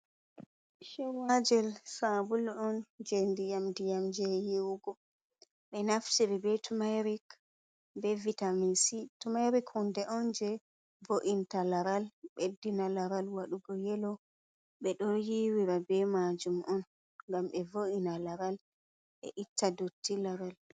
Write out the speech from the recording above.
chowajel sabulu on je ndiyam ndiyam, je yewugo be naftiri be tumeric be vitaminsi tumaric hunde on je vo’inta laral, beddina laral waɗugo yelo, ɓe ɗon yiwira be majum on gam be vo’ina laral, e itta dotti laral.